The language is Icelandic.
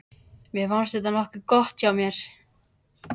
Mér fannst þetta nokkuð gott hjá mér.